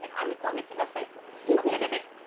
आम्ही कोणीच नसायचो. फक्त ते एक